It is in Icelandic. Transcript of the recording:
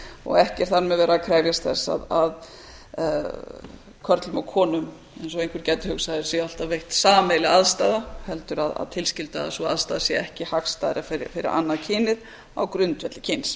og ekki er þar með verið að krefjast þess að körlum og konum eins og einhver gæti hugsað sé alltaf veitt sameiginleg aðstaða heldur að tilskylda að sú aðstaða sé ekki hagstæðari fyrir annað kynið á grundvelli kyns